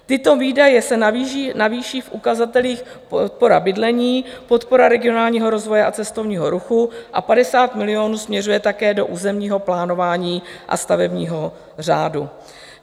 Tyto výdaje se navýší v ukazatelích podpora bydlení, podpora regionálního rozvoje a cestovního ruchu a 50 milionů směřuje také do územního plánování a stavebního řádu.